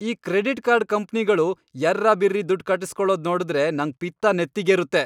ಈ credit card ಕಂಪ್ನಿಗಳು ಯರ್ರಾಬಿರ್ರಿ ದುಡ್ಡ್ ಕಟ್ಟುಸ್ಕೊಳೋದ್ ನೋಡ್ದ್ರೆ ನಂಗ್ ಪಿತ್ತ ನೆತ್ತಿಗೇರುತ್ತೆ.